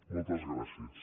moltes gràcies